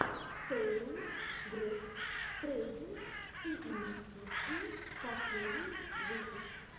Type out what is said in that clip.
ксэлиус груп трейдинг и инвестиции последний выпуск